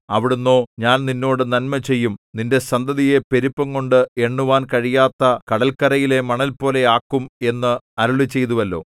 അവിടുന്നോ ഞാൻ നിന്നോട് നന്മ ചെയ്യും നിന്റെ സന്തതിയെ പെരുപ്പംകൊണ്ട് എണ്ണുവാൻ കഴിയാത്ത കടൽകരയിലെ മണൽപോലെ ആക്കും എന്ന് അരുളിച്ചെയ്തുവല്ലോ